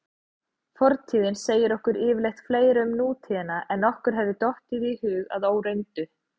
Fortíðin segir okkur yfirleitt fleira um nútíðina en okkur hefði dottið í hug að óreyndu.